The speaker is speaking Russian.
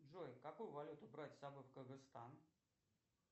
джой какую валюту брать с собой в кыргызстан